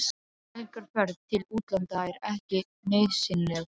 Helgarferð til útlanda er ekki nauðsynleg.